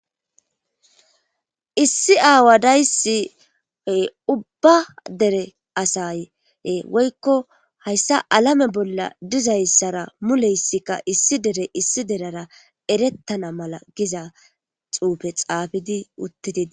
Issi aawa daysi ubba dere asa woyko hayssa alame bolla dizayssa mule issi derey issi derera erettiza erettana mala issi xuufe xaafida.